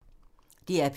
DR P2